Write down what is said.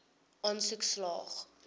aansoek slaag